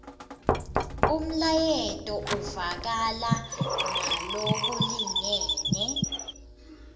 umlayeto uvakala ngalokulingene